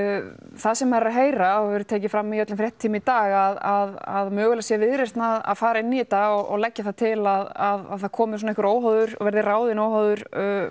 það sem maður er að heyra og hefur verið tekið fram í öllum fréttatímum í dag að mögulega sé Viðreisn að fara inn í þetta og leggja það til að það komi svona einhver óháður verði ráðinn óháður